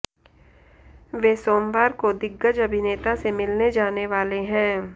वे सोमवार को दिग्गज अभिनेता से मिलने जाने वाले हैं